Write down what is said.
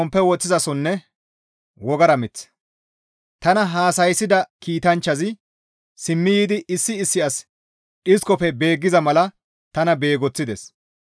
Tana haasayssida kiitanchchazi simmi yiidi issi issi asi dhiskofe beeggiza mala tana beegoththides.